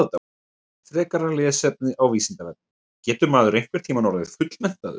Frekara lesefni á Vísindavefnum Getur maður einhvern tímann orðið fullmenntaður?